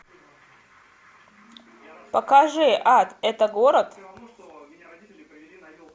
покажи ад это город